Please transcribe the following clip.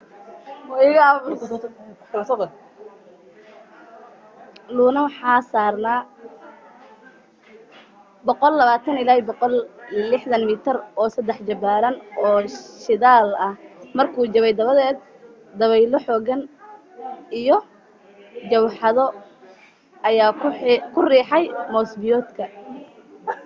luno waxa saarnaa 120-160 mitir oo saddex jibaaran oo shidaal ah markuu jabay dabadeed dabaylo xooggan iyo mawjado ayaa ku riixay moos-biyoodka